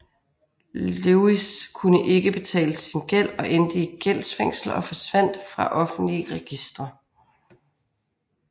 Lewis kunne ikke betale sin gæld og endte i gældsfængsel og forsvandt fra offentlige registre